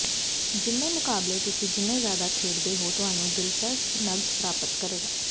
ਜਿੰਨੇ ਮੁਕਾਬਲੇ ਤੁਸੀਂ ਜਿੰਨੇ ਜ਼ਿਆਦਾ ਖੇਡਦੇ ਹੋ ਤੁਹਾਨੂੰ ਦਿਲਚਸਪ ਨਕਦ ਪ੍ਰਾਪਤ ਕਰੇਗਾ